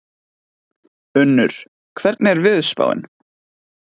Unnur, hvernig er veðurspáin?